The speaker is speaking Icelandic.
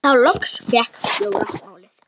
Þá loks fékk Jóra málið.